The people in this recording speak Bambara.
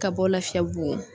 Ka bɔ Lafiyabugu.